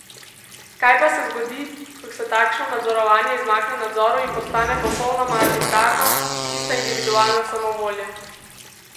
Kaj pa se zgodi, ko se takšno nadzorovanje izmakne nadzoru in postane popolnoma arbitrarno, čista individualna samovolja?